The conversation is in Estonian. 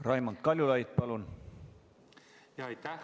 Raimond Kaljulaid, palun!